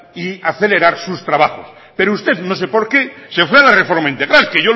y acelerar sus trabajos pero usted no sé por qué se fue a la reforma integral que